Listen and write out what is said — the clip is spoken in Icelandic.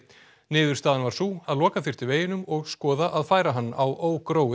niðurstaðan var sú að loka þyrfti veginum og skoðunar að færa hann á